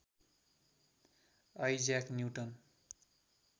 Isaac newton